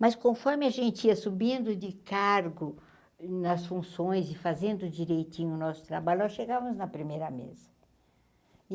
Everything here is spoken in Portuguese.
Mas conforme a gente ia subindo de cargo nas funções e fazendo direitinho do nosso trabalho, nós chegávamos na primeira mesa.